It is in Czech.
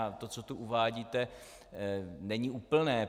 A to, co tu uvádíte, není úplné.